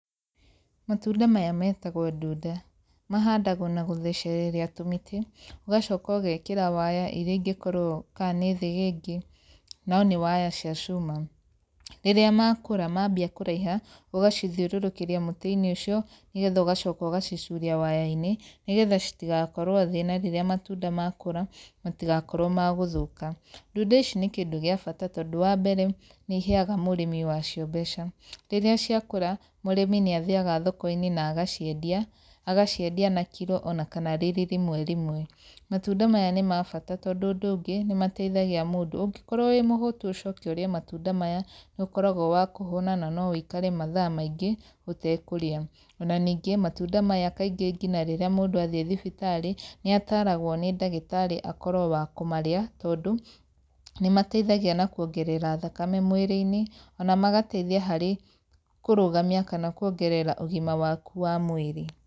Matunda maya metagwo ndunda. Mahandagwo na gũthecereria tũmĩtĩ, ũgacoka ũgekĩra waya irĩa ingĩkorwo kaa nĩ thĩgĩngĩ, no nĩ waya cia cuma. Rĩrĩa makũra mambia kũraiha, ũgacithiũrũrũkĩria mũtĩ-inĩ ũcio, nĩ getha ũgacoka ũgacicuria waya-inĩ, nĩgetha citigakorwo thĩ na rĩrĩa matunda makũra matigakorwo ma gũthũka. Ndunda ici nĩ kĩndũ gĩa bata tondũ wa mbere nĩ iheaga mũrĩmi wa cio mbeca. Rĩrĩa ciakũra, mũrĩmi nĩ athiaga thoko-inĩ na agaciendia, agaciendia na kiro ona kana rĩrĩ rĩmwe rĩmwe. Matunda maya nĩ ma bata tondũ ũndũ ũngĩ, nĩ mateithagia mũndũ. Ũngĩkorwo wĩ mũhũtu ũcoke ũrĩe matunda maya nĩ ũkoragwo wa kũhũna na no wĩikare mathaa maingĩ ũtekũrĩa. Ona ningĩ, matunda maya kaingĩ ngina rĩrĩa mũndũ athiĩ thibitarĩ nĩ ataragwo nĩ ndagĩtarĩ akorwo wa kũmarĩa tondũ, nĩ mateithagia na kuongerera thakame mwĩrĩ-inĩ, ona magateithia harĩ kũrũgamia kana kuongerera ũgima waku wa mwĩrĩ.